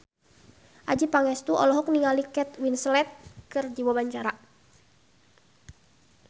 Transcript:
Adjie Pangestu olohok ningali Kate Winslet keur diwawancara